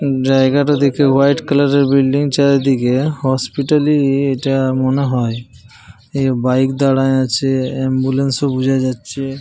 জায়গাটা দেখে white colour -এর বিল্ডিং চারিদিকে। হসপিটাল -ই এটা মনে হয়। বাইক দাঁড়ায়ে আছে অ্যাম্বুলেন্স -ও বোঝা যাচ্ছে ।